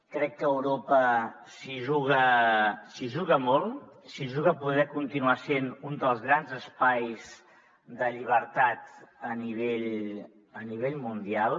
crec que europa s’hi juga molt s’hi juga poder continuar sent un dels grans espais de llibertat a nivell mundial